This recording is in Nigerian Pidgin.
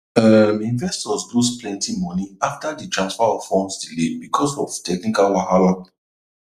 um investors lose plenty money after di transfer of funds delay because of technical wahala